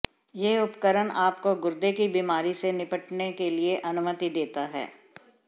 यह उपकरण आपको गुर्दे की बीमारी से निपटने के लिए अनुमति देता है